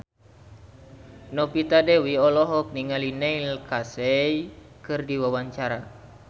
Novita Dewi olohok ningali Neil Casey keur diwawancara